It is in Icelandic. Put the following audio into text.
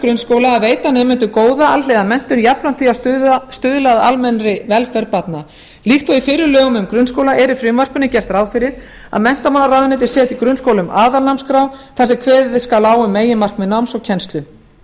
grunnskóla að veita nemendum góða alhliða menntun jafnframt því að stuðla að almennri velferð barna líkt og í fyrri lögum um grunnskóla er í frumvarpinu gert ráð fyrir að menntamálaráðuneytið setji grunnskólum aðalnámskrá þar sem kveðið skal á um meginmarkmið náms og kennslu